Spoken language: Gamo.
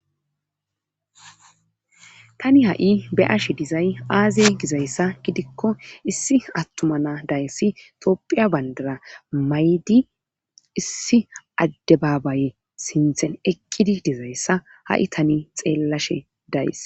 tani ha7i be ashe dizay aazey gizayssa gidikko issi attumana dayssi topphiya bandara maydi issi adde baabaye sinthen eqqidi dizayssa ha7i tani xeellashe days